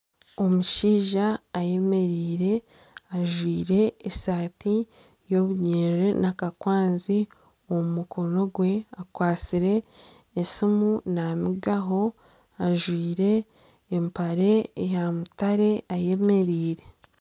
Omushaija ayemereire ajwaire esaati ya obunyerere ajwaire akakwanzi omu mukonogwe akwatsire esimu namigaho ajwaire empare ya mutare ayemereire .